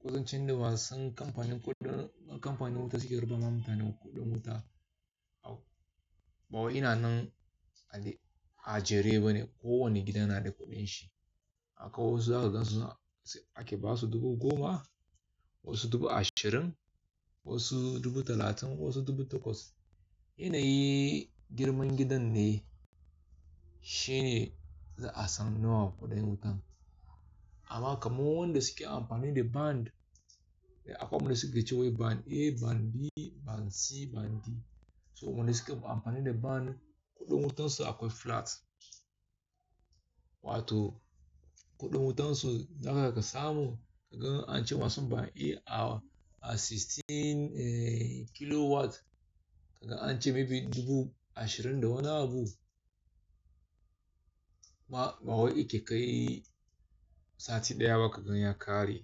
kusancin da masu kamfanin kuɗin, kamfanin wuta suke raba ma mutane kuɗin wuta. Ba wai ina nan a Jare bane, kowane gida na da kuɗin shi. Akwai wasu za su gansa ake ba su dubu goma, wasu dubu ashirin, wasu dubu talatin, wasu dubu takwas. Yanayi girman gidan ne shine za a san nawa kuɗin wutan. Amma kamar wainda suke amfani da band. Akwai wanda suke cewa band A, band B, band C, band D. So wanda suke amfani da band, kuɗin wutan su akwai flat. Wato kuɗin wutan su, na haka ka samu kagan an ce masu band A a sixteen kilowatt, kagan an ce maybe dubu ashirin da wani abu. Ba wai yake kai sati ɗaya ba kagan ya ƙare.